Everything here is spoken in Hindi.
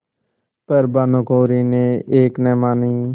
पर भानुकुँवरि ने एक न मानी